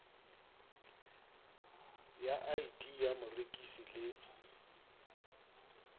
ya id ya morekisi le